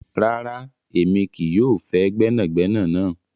Rárá, emi kìí yọ fẹ́ gbẹnàgbẹ̀nà yẹn.